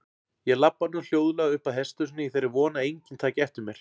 Ég labba nú hljóðlega uppað hesthúsinu í þeirri von að enginn taki eftir mér.